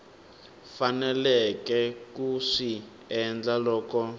faneleke ku swi endla loko